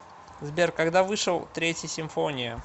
сбер когда вышел третья симфония